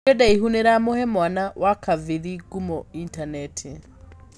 Njuĩrĩ ndaivu nĩiramuve mwana wakavii ngumo initaneti.